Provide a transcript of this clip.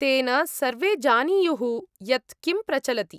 -तेन सर्वे जानीयुः यत् किं प्रचलति।